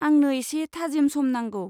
आंनो एसे थाजिम सम नांगौ।